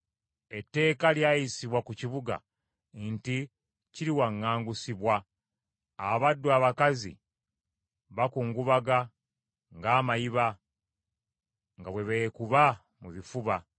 Etteeka lyayisibwa ku kibuga nti kiriwaŋŋangusibwa, abaddu abakazi bakungubaga ng’amayiba, nga bwe beekuba mu bifuba.